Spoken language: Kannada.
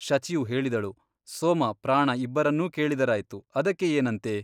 ಶಚಿಯು ಹೇಳಿದಳು ಸೋಮ ಪ್ರಾಣ ಇಬ್ಬರನ್ನೂ ಕೇಳಿದರಾಯ್ತು ಅದಕ್ಕೆ ಏನಂತೆ.